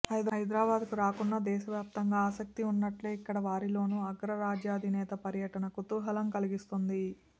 హైదరాబాద్కు రాకున్నా దేశవ్యాప్తంగా ఆసక్తి ఉన్నట్లే ఇక్కడవారిలోనూ అగ్ర రాజ్యాధినేత పర్యటన కుతూహలం కలిగిస్తోంది